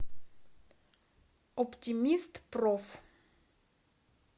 оптимистпроф